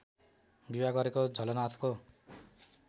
विवाह गरेको झलनाथको